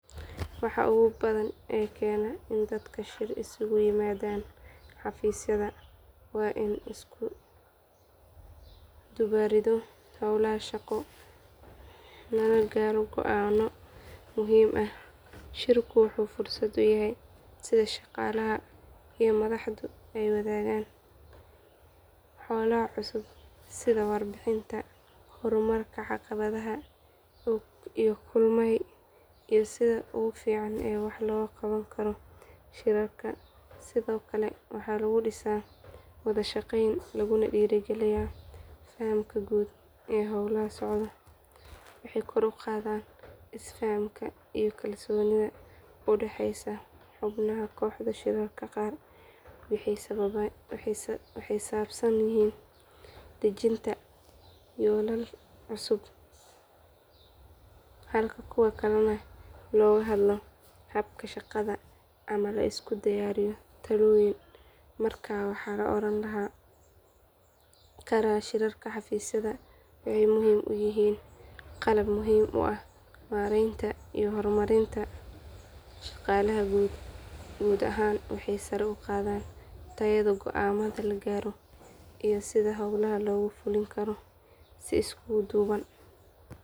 Waxa ugu badan ee keena in dadka shir isugu yimaadaan xafiisyada waa in la isku dubbarido howlaha shaqo lana gaaro go'aanno muhiim ah shirku wuxuu fursad u yahay in shaqaalaha iyo madaxdu ay wadaagaan xogaha cusub sida warbixinnada horumarka caqabadaha la kulmay iyo sida ugu fiican ee wax looga qaban karo shirarka sidoo kale waxaa lagu dhisaa wada shaqeyn laguna dhiirrigeliyaa fahamka guud ee howlaha socda waxay kor u qaadaan isfahamka iyo kalsoonida u dhaxeysa xubnaha kooxda shirarka qaar waxay ku saabsan yihiin dejinta yoolal cusub halka kuwo kalena looga hadlo habka shaqada ama la isku raadiyo talooyin markaa waxaa la oran karaa shirarka xafiisyada waxay u yihiin qalab muhiim u ah maaraynta iyo horumarinta shaqada guud ahaan waxay sare u qaadaan tayada go'aamada la gaaro iyo sida howlaha loogu fulin karo si isku duuban.